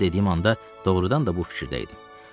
Ancaq ona dediyim anda doğurdan da bu fikirdə idim.